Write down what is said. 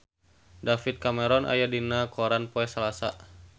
David Cameron aya dina koran poe Salasa